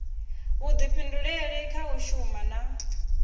vhuḓifhinduleli kha u shuma na